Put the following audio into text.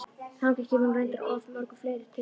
Þangað kemur hún reyndar af mörgum fleiri tilefnum.